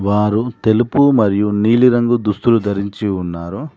వారు తెలుపు మరియు నీలి రంగు దుస్తులు ధరించి ఉన్నారు.